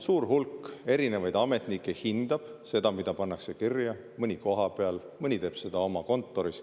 Suur hulk erinevaid ametnikke hindab seda, mida pannakse kirja – mõni kohapeal, mõni teeb seda oma kontoris.